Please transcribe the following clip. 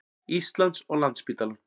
Íslands og Landspítalann.